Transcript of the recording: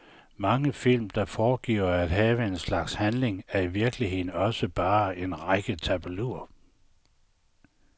Mange film, der foregiver at have en slags handling er i virkeligheden også bare en række tableauer.